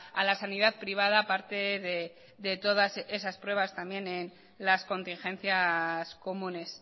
a la sanidad privada parte de todas esas pruebas también en las contingencias comunes